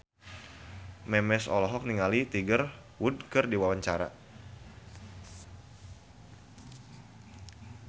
Memes olohok ningali Tiger Wood keur diwawancara